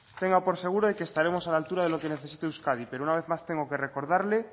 tenga por seguro de que estaremos a la altura de lo que necesita euskadi pero una vez más tengo que recordarle